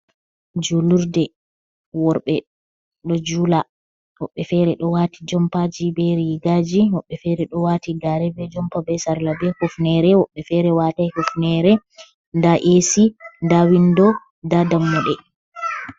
Julurde: Worɓe ɗo jula woɓɓe fere ɗo waati jompaji be rigaji, woɓɓe fere ɗo wati gare be jompa be sarla be hufnere, woɓɓe fere watai hufnere. Nda esi, nda windo, nda dammuɗe.